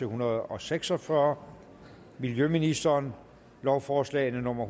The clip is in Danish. hundrede og seks og fyrre miljøministeren lovforslag nummer